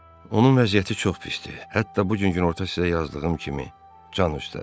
Onun vəziyyəti çox pisdir, hətta bu gün günorta sizə yazdığım kimi can üstədir.